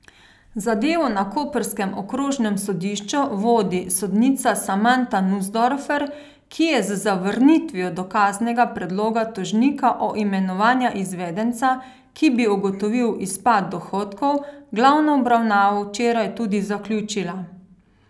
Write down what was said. Zadevo na koprskem okrožnem sodišču vodi sodnica Samanta Nusdorfer, ki je z zavrnitvijo dokaznega predloga tožnika o imenovanju izvedenca, ki bi ugotovil izpad dohodkov, glavno obravnavo včeraj tudi zaključila.